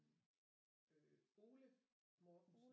Øh Ole Mortensen